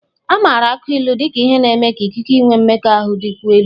A maara akụ ilu na-eme ka ikike inwe mmekọahụ dịkwuo elu.